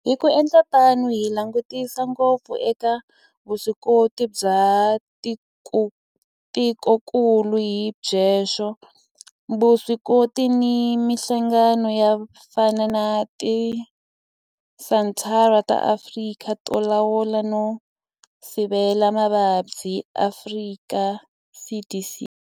Hi ku endla tano hi langutisa ngopfu eka vuswikoti bya tikokulu hi byoxe, vuswikoti na mihlangano yo fana na Tisenthara ta Afrika to Lawula no Sivela Mavabyi, Afrika CDC.